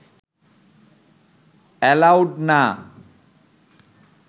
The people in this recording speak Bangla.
অ্যালাউড না